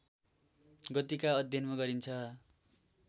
गतिका अध्ययनमा गरिन्छ